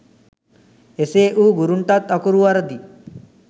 එසේ වූ ගුරුන්ටත් අකුරු වරදී